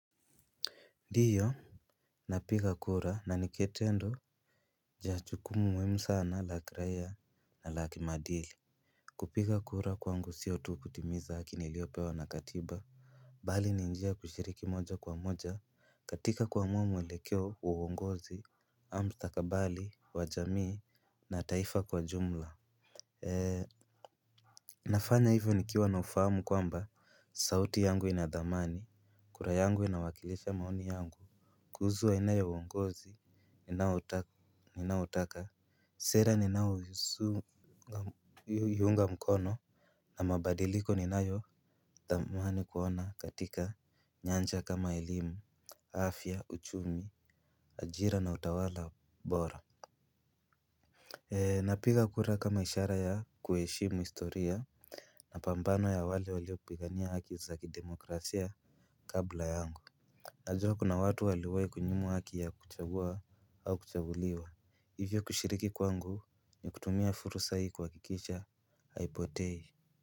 Ndio na piga kura na ni kitendo ya chukumu muhimu sana la kiraia na la kimadili. Kupiga kura kwangu siyo tu kutimiza haki niliopewa na katiba. Bali ni njia ya kushiriki moja kwa moja katika kuamua mwelekeo wa uwongozi am mstakabali, wa jamii na taifa kwa jumla. Nafanya hivyo nikiwa na ufahamu kwamba sauti yangu ina dhamani, kura yangu inawakilisha maoni yangu kuhusu aina ya uongozi Ninaotaka Sera ninaoiunga mkono na mabadiliko ninayothamani kuona katika nyanja kama elimu, afya, uchumi, ajira na utawala bora. Napiga kura kama ishara ya kueshimu historia mapambano ya wale waliopigania haki za kidemokrasia kabla yangu. Najua kuna watu waliwai kunyimwa haki ya kuchagua au kuchaguliwa. Hivyo kushiriki kwangu ni kutumia furusa hii kuakikisha haipotei.